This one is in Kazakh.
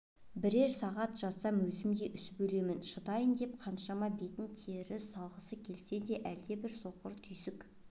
бірер сағат жатсам өзім де үсіп өлемін шыдайын деп қаншама бетін теріс салғысы келсе де әлдебір соқыр түйсік